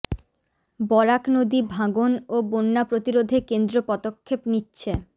বরাক নদী ভাঙন ও বন্যা প্ৰতিরোধে কেন্দ্ৰ পদক্ষেপ নিচ্ছে